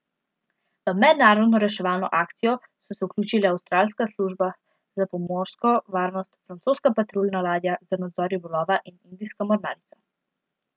V mednarodno reševalno akcijo so se vključile avstralska služba za pomorsko varnost, francoska patruljna ladja za nadzor ribolova in indijska mornarica.